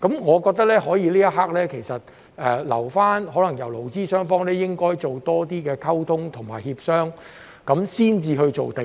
我覺得這一刻，可以留待勞資雙方多作溝通及協商，然後才作出定案。